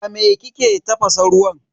A me kike tafasa ruwan?